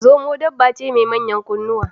Zomo dabba ce mai manyan kunnuwa.